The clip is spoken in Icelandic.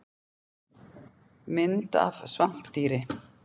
Mynd af svampdýri.